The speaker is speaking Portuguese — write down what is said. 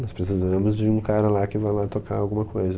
Nós precisamos de um cara lá que vá lá tocar alguma coisa.